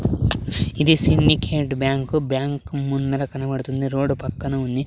ఇది Syndicate Bank bank ముందర కనపడుతుంది రోడ్డు పక్కన ఉంది.